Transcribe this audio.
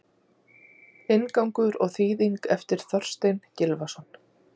Inngangur og þýðing eftir Þorstein Gylfason.